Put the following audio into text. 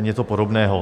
něco podobného.